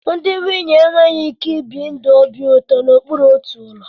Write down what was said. Ndị nwunye enweghị ike ibi ndụ obi ụtọ n'okpuru otu ụlọ